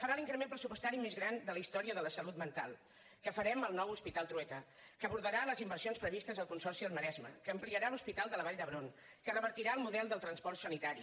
farà l’increment pressupostari més gran de la història de la salut mental que farem el nou hospital trueta que abordarà les inversions previstes al consorci al maresme que ampliarà l’hospital de la vall d’hebron que revertirà el model del transport sanitari